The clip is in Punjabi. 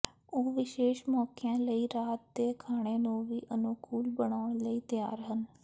ਉਹ ਵਿਸ਼ੇਸ਼ ਮੌਕਿਆਂ ਲਈ ਰਾਤ ਦੇ ਖਾਣੇ ਨੂੰ ਵੀ ਅਨੁਕੂਲ ਬਣਾਉਣ ਲਈ ਤਿਆਰ ਹਨ